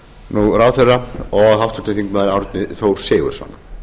nú ráðherra og háttvirtur þingmaður árni þór sigurðsson